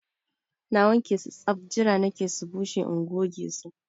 Na wanke su saf! Jira nake su bushe in goge su